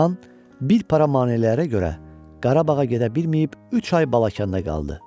Xan bir para maneələrə görə Qarabağa gedə bilməyib üç ay Balakəndə qaldı.